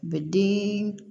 U bɛ den